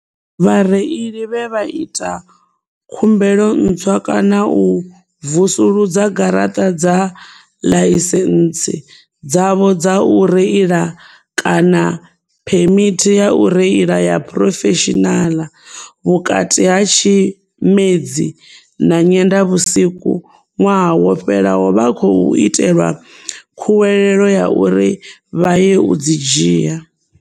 Vhareili vhe vha ita khumbelo ntswa kana u vusuludza garaṱa dza ḽaisentsi dzavho dza u reila kana phemithi ya u reila ya phurofeshinaḽa, vhukati ha Tshimedzi na Nyendavhusiku ṅwaha wo fhelaho vha khou itelwa khuwelelo ya uri vha ye u dzi dzhia.